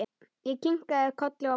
Ég kinkaði kolli og brosti.